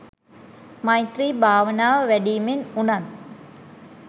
මෛත්‍රී භාවනාව වැඩීමෙන් වුණත්